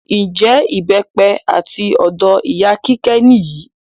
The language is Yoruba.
Njẹ ìbépẹ àti ọ̀dọ ìyá kíké níyì?